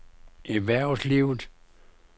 erhvervslivet